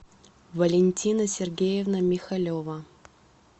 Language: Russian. валентина сергеевна михалева